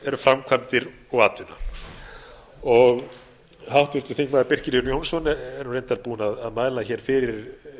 eru framkvæmdir og atvinna háttvirtur þingmaður birkir jón jónsson er reyndar búinn að mæla fyrir